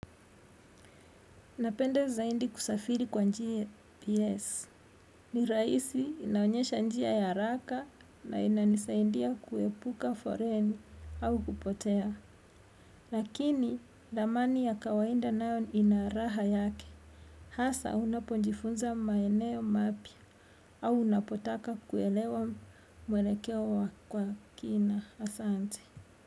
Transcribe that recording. Napenda zaindi kusafiri kwa njia PS. Ni raisi inaonyesha njia ya raka na ina nisaindia kuepuka foreni au kupotea. Lakini damani ya kawainda nayo inaaraha yake. Hasa unaponjifunza maeneo mapia au unapotaka kuelewa mwelekewa kwa kina asante.